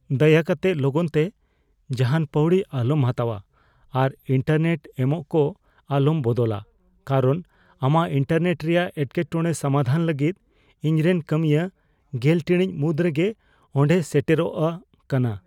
ᱫᱟᱭᱟ ᱠᱟᱛᱮ ᱞᱚᱜᱚᱱᱛᱮ ᱡᱟᱦᱟᱱ ᱯᱟᱹᱣᱲᱤ ᱟᱞᱚᱢ ᱦᱟᱛᱟᱣᱟ ᱟᱨ ᱤᱱᱴᱟᱨᱱᱮᱴ ᱮᱜᱽᱢᱚᱜᱠᱚ ᱟᱞᱚᱢ ᱵᱚᱫᱚᱞᱟ ᱠᱟᱨᱚᱱ ᱟᱢᱟᱜ ᱤᱱᱴᱟᱨᱱᱮᱴ ᱨᱮᱭᱟᱜ ᱮᱴᱠᱮᱴᱚᱲᱮ ᱥᱟᱢᱟᱫᱷᱟᱱ ᱞᱟᱹᱜᱤᱫ ᱤᱧᱨᱮᱱ ᱠᱟᱹᱢᱤᱭᱟᱹ ᱑᱐ ᱴᱤᱲᱤᱡ ᱢᱩᱫᱽ ᱨᱮᱜᱮ ᱚᱸᱰᱮᱭ ᱥᱮᱴᱮᱨᱚᱜᱼᱟ ᱠᱟᱱᱟ ᱾